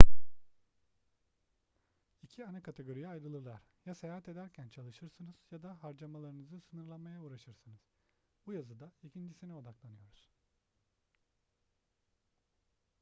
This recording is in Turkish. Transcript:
i̇ki ana kategoriye ayrılırlar: ya seyahat ederken çalışırsınız ya da harcamalarınızı sınırlamaya uğraşırsınız. bu yazıda ikincisine odaklanıyoruz